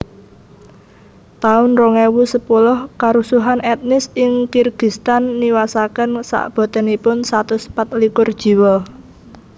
taun rong ewu sepuluh Karusuhan etnis ing Kirgistan niwasaken sakbotenipun satus pat likur jiwa